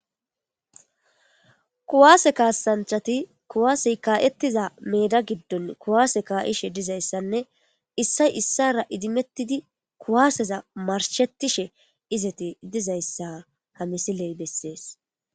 Kuwaase kaasanchati kuwaasey kaa'ettiza meeda giddon kuwaase kaa'ishe dizayssanne issay issara idimettidi kuwaaseza marshettishe izati dizayssa ha misiley bessees.